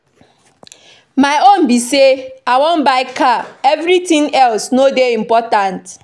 My own be say I wan buy car everything else no dey important